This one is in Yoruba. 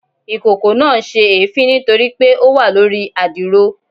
Ikoko naa n se èéfín nitori pe o wa lori adiro